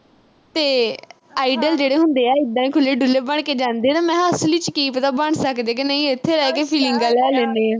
ਤੇ idol ਜਿਹੜੇ ਹੁੰਦੇ ਆ, ਏਦਾਂ ਈ ਖੁੱਲ੍ਹੇ-ਡੁੱਲ੍ਹੇ ਜੇ ਬਣ ਕੇ ਜਾਂਦੇ ਆ। ਮੈਂ ਕਿਹਾ ਅਸਲ ਚ ਕੀ ਪਤਾ ਬਣ ਸਕਦੇ ਕਿ ਨਹੀਂ, ਇਥੇ ਰਹਿ ਕੇ feelings ਲੈ ਲੈਨੇ ਆਂ।